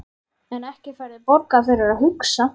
En ekki færðu borgað fyrir að hugsa?